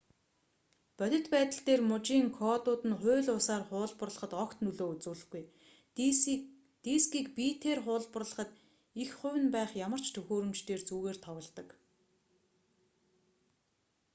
бодит байдал дээр мужийн кодууд нь хууль бусаар хуулбарлахад огт нөлөө үзүүлэхгүй дискийг битээр хуулбарлахад эх хувь нь байх ямар ч төхөөрөмж дээр зүгээр тоглодог